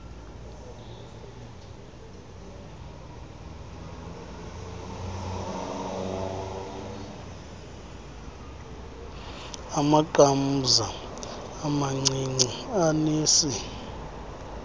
amaqamza amancinci anesi